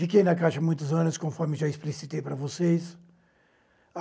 Fiquei na Caixa muitos anos, conforme já explicitei para vocês.